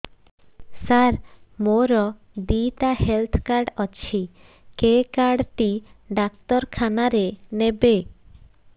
ସାର ମୋର ଦିଇଟା health card ଅଛି କେ କାର୍ଡ ଟି ଡାକ୍ତରଖାନା ରେ ନେବେ